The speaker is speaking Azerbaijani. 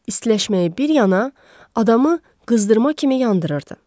İstiləşməyi bir yana, adamı qızdırma kimi yandırırdı.